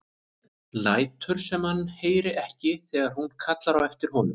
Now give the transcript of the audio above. Lætur sem hann heyri ekki þegar hún kallar á eftir honum.